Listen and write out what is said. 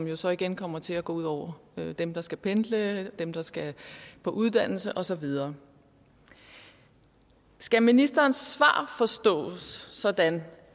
jo så igen kommer til at gå ud over dem der skal pendle dem der skal på uddannelse og så videre skal ministerens svar forstås sådan